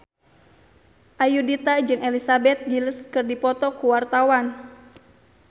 Ayudhita jeung Elizabeth Gillies keur dipoto ku wartawan